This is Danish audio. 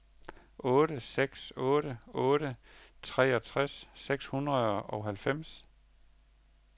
otte seks otte otte treogtres seks hundrede og halvfems